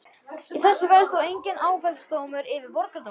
Í þessu felst þó enginn áfellisdómur yfir borgardómurum.